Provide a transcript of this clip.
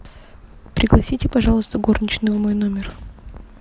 пригласите пожалуйста горничную в мой номер